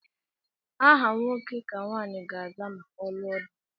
Aha nwoke ka nwanyị ga aza ma ọ lụọ di